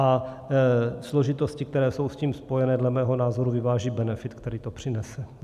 A složitosti, které jsou s tím spojené, dle mého názoru vyváží benefit, který to přinese.